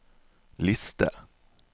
liste